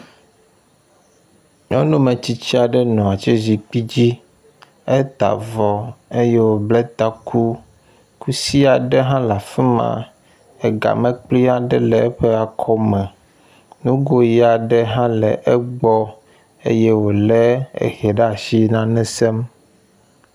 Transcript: Nyɔnu metsitsi aɖe nɔ atsi zikpui dzi. Eta avɔ eye woble taku. Kusi aɖe hã le afi ma ega mlekpui aɖe le eƒe akɔme. Nugo ʋi aɖe hã le egbɔ eye wo le ehɛ ɖe as inane sem.